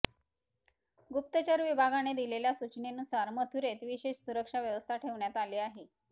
गुप्तचर विभागाने दिलेल्या सचूनेनुसार मथुरेत विशेष सुरक्षा व्यवस्था ठेवण्यात आली आहे